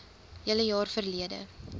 hele jaar verlede